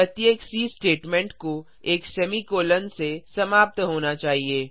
प्रत्येक C statement को एक सेमीकोलों से समाप्त होना चाहिए